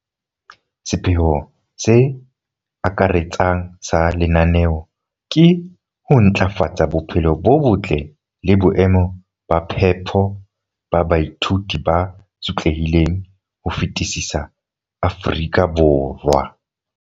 sepheo se akaretsang sa lenaneo ke ho ntlafatsa bophelo bo botle le boemo ba phepo ba baithuti ba sotlehileng ho fetisisa Afrika Borwa.